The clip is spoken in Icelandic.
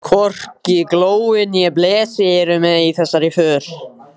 Hvorki Glói né Blesi eru með í þessari för.